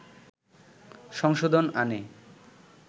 সংশোধন আনে